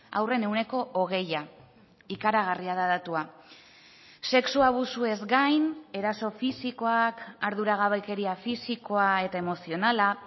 haurren ehuneko hogeia ikaragarria da datua sexu abusuez gain eraso fisikoak arduragabekeria fisikoa eta emozionala